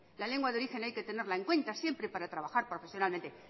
la lengua de origen hay que tenerla en cuenta siempre para trabajar profesionalmente